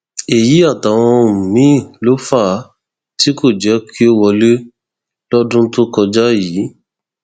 èyí àtàwọn ohun míín ló fà á tí kò jẹ kí ó wọlé lọdún tó kọjá yìí